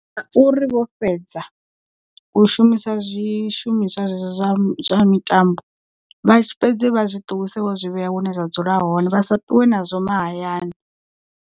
Ngauri vho fhedza u shumisa zwishumiswa zwezwo zwa zwa mitambo vha tshi fhedzi vha zwi tuwise vho zwi vhea hune zwa dzula hone vha sa ṱuwe nazwo mahayani.